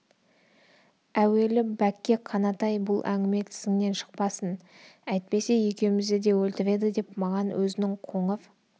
әуелі бәкке қанатай бұл әңгіме тісіңнен шықпасын әйтпесе екеумізді де өлтіреді деп маған өзінің қоңыр